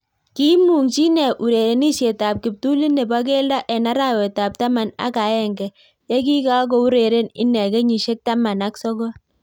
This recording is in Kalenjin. Kiimungchii inee urerenisiet ab kiptulit neboo keldo eng arawet ab taman ak aenge yekikakoureren inee kenyisiek taman ak sogol